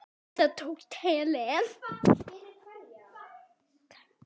En það tókst Helen.